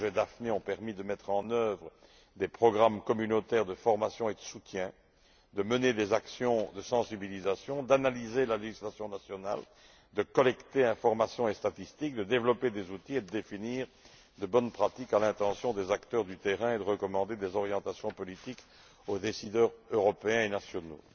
Les projets Daphné ont permis de mettre en œuvre des programmes communautaires de formation et de soutien, de mener des actions de sensibilisation, d'analyser la législation nationale, de collecter informations et statistiques, de développer des outils et de définir de bonnes pratiques à l'intention des acteurs présents sur le terrain et de recommander des orientations politiques aux décideurs européens et nationaux.